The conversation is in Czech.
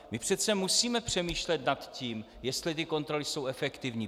My přece musíme přemýšlet nad tím, jestli ty kontroly jsou efektivní.